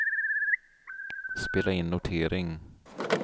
spela in notering